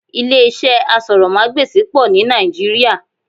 Ilé iṣẹ́ asọ̀rọ̀mágbèsì pọ̀ ní Nàìjíríà